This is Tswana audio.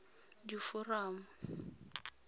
diforamo